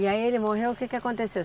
E aí ele morreu, o que que aconteceu?